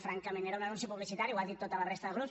francament era un anunci publicitari ho ha dit tota la resta de grups